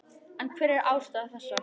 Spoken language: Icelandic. En hver er ástæða þessa?